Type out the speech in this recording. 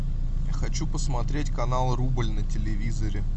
хочу посмотреть канал рубль на телевизоре